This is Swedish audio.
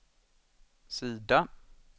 sida